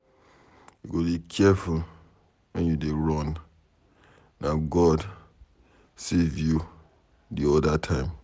You go dey careful wen you dey run, na God save you the other time.